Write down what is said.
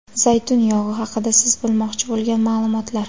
Zaytun yog‘i haqida siz bilmoqchi bo‘lgan ma’lumotlar.